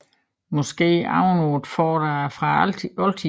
Måske oven på et fort fra oldtiden